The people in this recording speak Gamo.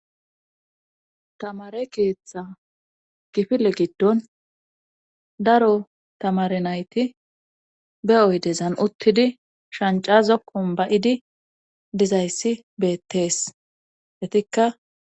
Tamare keeththa gifile giddon daro tamarenayti be'oy dezan uttidi shancazokkon ba'idi dizayssi beettees detikka.